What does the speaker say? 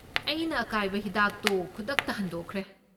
ꯑꯩꯅ ꯑꯀꯥꯏꯕ ꯍꯤꯗꯥꯛꯇꯣ ꯈꯨꯗꯛꯇ ꯍꯟꯗꯣꯛꯈ꯭ꯔꯦ꯫